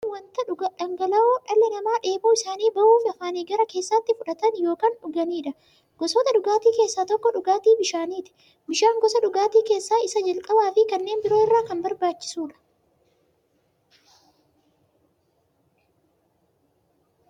Dhugaatiin wanta dhangala'oo dhalli namaa dheebuu isaanii ba'uuf, afaaniin gara keessaatti fudhatan yookiin dhuganiidha. Gosoota dhugaatii keessaa tokko dhugaatii bishaaniti. Bishaan gosa dhugaatii keessaa isa jalqabaafi kanneen biroo irra kan barbaachisuudha.